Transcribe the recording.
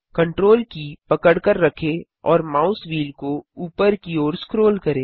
Ctrl की पकड़कर रखें और माउस व्हील को ऊपर की ओर स्क्रोल करें